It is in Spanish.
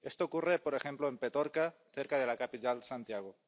Esto ocurre, por ejemplo, en Petorca, cerca de la capital, Santiago.